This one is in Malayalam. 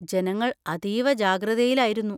ജനങ്ങൾ അതീവ ജാഗ്രതയിലായിരുന്നു.